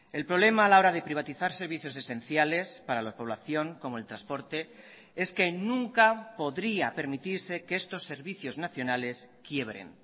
el problema a la hora de privatizar servicios esenciales para la población como el transporte es que nunca podría permitirse que estos servicios nacionales quiebren